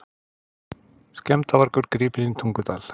Skemmdarvargur gripinn í Tungudal